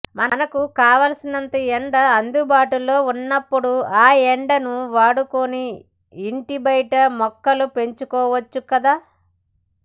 మనకు కావలసినంత ఎండ అందుబాటులో ఉన్నప్పుడు ఆ ఎండను వాడుకుని ఇంటి బయట మొక్కలు పెంచుకోవచ్చు కదా